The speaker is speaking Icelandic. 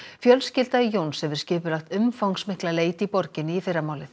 fjölskylda Jóns hefur skipulagt umfangsmikla leit í borginni í fyrramálið